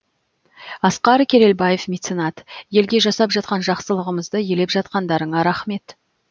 асқар керелбаев меценат елге жасап жатқан жақсылығымызды елеп жатқандарына рақмет